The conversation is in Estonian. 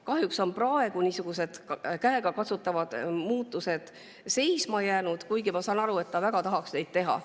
Kahjuks on praegu käegakatsutavad muudatused seisma jäänud, kuigi ma saan aru, et ta väga tahaks neid teha.